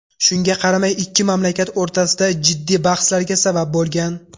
Shunga qaramay ikki mamlakat o‘rtasida jiddiy bahslarga sabab bo‘lgan.